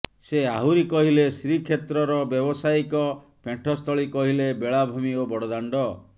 ସେ ଆହୁରି କହିଲେ ଶ୍ରୀକ୍ଷେତ୍ରର ବ୍ୟାବସାୟିକ ପେଣ୍ଠସ୍ଥଳୀ କହିଲେ ବେଳାଭୂମି ଓ ବଡ଼ଦାଣ୍ଡ